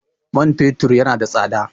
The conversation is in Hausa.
Man fetur yana da tsada.